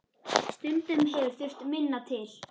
Stundum hefur þurft minna til.